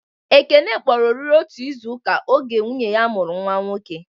Ekene kpọrọ oriri otu izuka oge nwunye ya mụrụ nwa nwoke